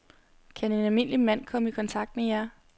Kan en almindelig mand så komme i kontakt med jer?